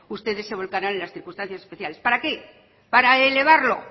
ustedes se volcarán en las circunstancias especiales para qué para elevarlo